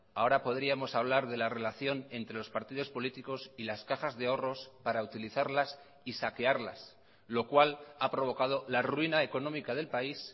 ahora podríamos hablar de la relación entre los partidos políticos y las cajas de ahorros para utilizarlas y saquearlas lo cual a provocado la ruina económica del país